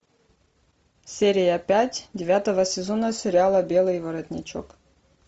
серия пять девятого сезона сериала белый воротничок